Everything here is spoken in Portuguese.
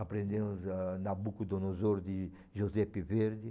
Aprendemos ah Nabucodonosor de Giuseppe Verdi.